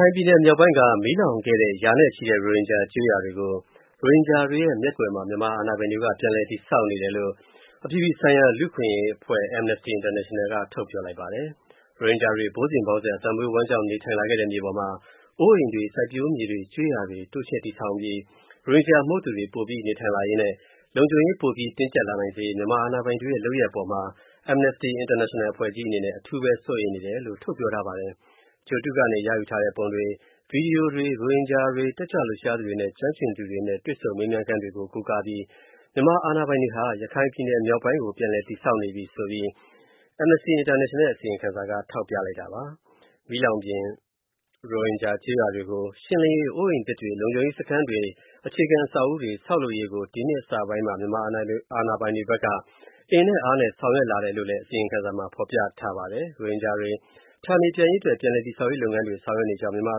ိုင်ပြည်နယ် မြောက်ပိုင်းက မီးလောင်ခဲ့တဲ့ ရာနဲ့ချီတဲ့ ရိုဟင်ဂျာ ကျေးရွာတွေကို ရိုဟင်ဂျာတွေရဲ့ မျက်ကွယ်မှာ မြန်မာအာဏာပိုင်တွေက ပြန်လည် တည်ဆောက်နေတယ်လို့ အခွင့်အရေး လှုပ်ရှားမှု အဖွဲ့ကြီး Amnesty International က ပြောဆိုလိုက်ပါတယ်။ ရိုဟင်ဂျာတွေ ဘိုးစဉ်ဘောင်ဆက် အသက်မွေးဝမ်းကျောင်း နေထိုင်လာတဲ့ မြေပေါ်မှာ အိုးအိမ်တွေ၊ စိုက်ပျိုးမြေတွေ၊ ကျေးရွာတွေ တိုးချဲ့တည်ထောင်ပြီး ရိုဟင်ဂျာ မဟုတ်သူတွေ ပိုပြီး နေထိုင်လာရေးနဲ့ လုံခြုံရေးပိုပြီး တင်းကျပ် လာနိုင်စေရေး မြန်မာ အာဏာပိုင်တွေရဲ့ လုပ်ရပ် အပေါ်မှာ Amnesty International အဖွဲ့ကြီး အနေနဲ့ အထူးဘဲ စိုးရိမ်နေတာပါ။ ဂြိုဟ်တုကနေ ရယူထားတဲ့ ပုံတွေ၊ ဗွီဒီယိုတွေ ရိုဟင်ဂျာတွေ၊ တက်ကြွလှုပ်ရှားသူတွေနဲ့ ကျွမ်းကျင်သူတွေနဲ့ တွေ့ဆုံ မေးမြန်းခန်းတွေကို ကိုးကားပြီး မြန်မာအာဏာပိုင်တွေဟာ ရခိုင်ပြည်နယ် မြောက်ပိုင်းကို ပြန်လည်တည်ဆောက်နေပြီဆိုပြီး AI ရဲ့ အစီရင်ခံစာက ထောက်ပြတာပါ။ မီးလောင်ပြင် ရိုဟင်ဂျာ ကျေးရွာတွေကို ရှင်းလင်းရေး၊ အိုးအိမ်သစ်တွေ၊ လုံခြုံရေး စခန်းတွေနဲ့ အခြေခံ အဆောက်အဦးတွေ ဆောက်လုပ်ရေးကို ဒီနှစ် အစပိုင်းမှာ မြန်မာအာဏာပိုင်တွေဘက်က အင်နဲ့အားနဲ့ ဆောင်ရွက်လာတယ်လို့လည်း အစီရင်ခံစာမှာ ဖော်ပြထားပါတယ်။ ရိုဟင်ဂျာတွေ ဌာနေပြန်ရေး အတွက် ပြန်လည်တည်ဆောက်ရေး လုပ်ငန်းတွေ ဆောင်ရွက်နေကြောင်း မြန်မာ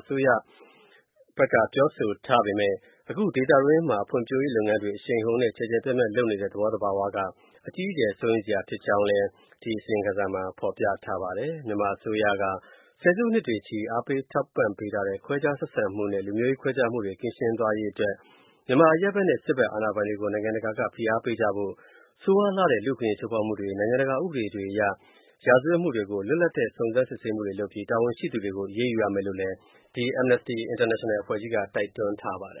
အရပ်သား အစိုးရက ပြောဆိုထားပေမယ့် အခု ဒေသတွင်းမှာ ဖွံ့ဖြိုးရေး လုပ်ငန်းတွေ အရှိန်အဟုန်နဲ့ ကျယ်ကျုယ်ပြန့်ပြန့် လုပ်နေတဲ့ သဘောသဘာဝက အကြီးအကျယ် စိုးရိမ်စရာ ဖြစ်ကြောင်းလည်း ဖော်ပြပါတယ်။ မြန်မာ အစိုးရက ဆယ်စုနှစ်တွေနဲ့ချီ အားပေး ထောက်ပံ့ထားတဲ့ ခွဲခြားဆက်ဆံမှုနဲ့ လူမျိုးရေး ခွဲခြားမှုတွေ ကင်းရှင်းသွားစေရေး အတွက် မြန်မာ အရပ်ဘက်နဲ့ စစ်ဘက် အာဏာပိုင်တွေကို နိုင်ငံတကာက ဖိအားပေးကြဖို့၊ ဆိုးရွားလှတဲ့ လူ့အခွင့်အရေး ချိုးဖောက်မှုတွေ၊ နိုင်ငံတကာ ဥပဒေတွေ အရ ရာဇဝတ်မှုတွေကို လွတ်လပ်တဲ့ စုံစမ်းစစ်ဆေးမှုလုပ်ပြီး တာဝန်ရှိသူတွေကို အရေးယူရမယ်လို့လည်း AI အဖွဲ့ကြီးက တိုက်တွန်းထားပါတယ်